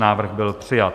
Návrh byl přijat.